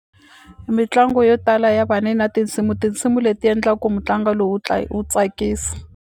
Mitlangu yo tala ya va ni na tinsimu tinsimu leti endla ku mutlangu lowu wu wu tsakisa.